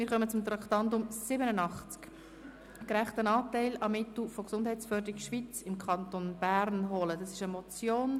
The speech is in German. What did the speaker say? Einen «Gerechten Anteil an Mitteln von Gesundheitsförderung Schweiz in Kanton Bern holen» – es handelt sich um eine Motion.